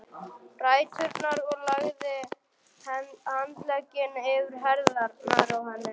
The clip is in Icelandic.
ræturnar og lagði handlegginn yfir herðarnar á henni.